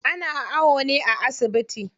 Ana awo ne a asibiti.